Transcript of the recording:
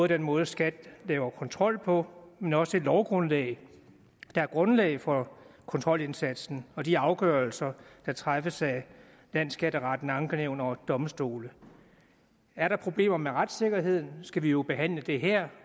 den måde skat laver kontrol på men også det lovgrundlag der er grundlag for kontrolindsatsen og de afgørelser der træffes af landsskatteretten ankenævn og domstole er der problemer med retssikkerheden skal vi jo behandle det her